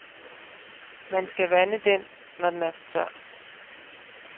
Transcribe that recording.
Man skal vande den, når den er for tør.